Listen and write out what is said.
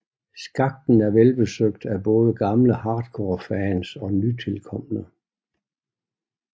Skakten er velbesøgt af både gamle hardcore fans og nytilkomne